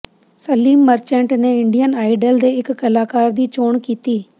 Salim Merchant ਨੇ Indian Idol ਦੇ ਇਕ ਕਲਾਕਾਰ ਦੀ ਚੋਣ ਕੀਤੀ